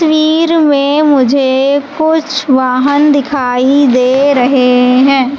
तस्वीर में मुझे कुछ वाहन दिखाई दे रहे हैं--